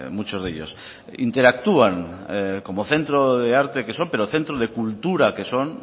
muchos de ellos interactúan como centro de arte que son pero centro de cultura que son